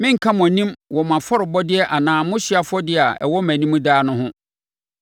Merenka mo anim wɔ mo afɔrebɔdeɛ anaa mo hyeɛ afɔdeɛ a ɛwɔ mʼanim daa no ho.